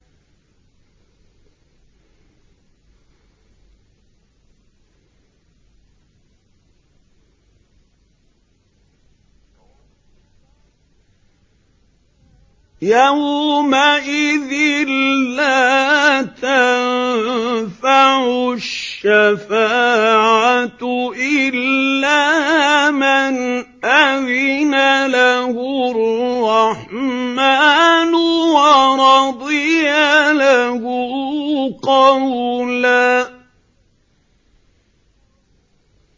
يَوْمَئِذٍ لَّا تَنفَعُ الشَّفَاعَةُ إِلَّا مَنْ أَذِنَ لَهُ الرَّحْمَٰنُ وَرَضِيَ لَهُ قَوْلًا